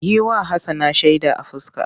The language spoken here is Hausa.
Yi wa Hassana shaida a fuska!